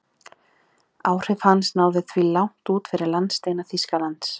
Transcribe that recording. Áhrif hans náðu því langt út fyrir landsteina Þýskalands.